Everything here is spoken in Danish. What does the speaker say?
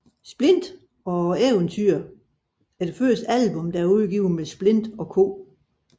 Splint og eventyret er det første album der er udgivet med Splint og Co